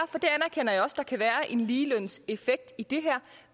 en ligelønssag effekt i det her